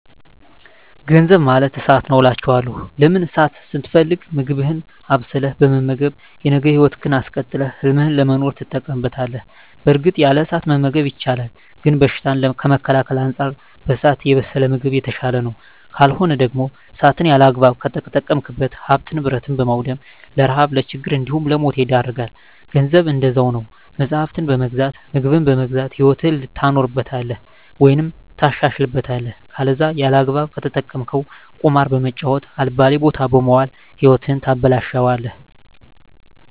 ገንዘብ ማለት እሳት ነዉ አላቸዋለሁ። ለምን እሳትን ስትፈልግ ምግብህን አብስለህ በመመገብ የነገ ህይወትህን አስቀጥለህ ህልምህን ለመኖር ትጠቀምበታለህ በእርግጥ ያለ እሳት መመገብ ይቻላል ግን በሽታን ከመከላከል አንፃር በእሳት የበሰለ ምግብ የተሻለ ነዉ። ካልሆነ ደግሞ እሳትን ያለአግባብ ከተጠቀምክ ሀብትን ንብረት በማዉደም ለረሀብ ለችግር እንዲሁም ለሞት ይዳርጋል። ገንዘብም እንደዛዉ ነዉ መፅሀፍትን በመግዛት ምግብን በመግዛት ህይወትህን ታኖርበታለህ ወይም ታሻሽልበታለህ ከለዛ ያለአግባብ ከተጠቀምከዉ ቁማር በመጫወት አልባሌ ቦታ በመዋል ህይወትህን ታበላሸለህ።